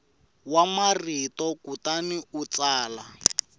wa marito kutani u tsala